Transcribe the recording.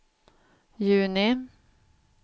juni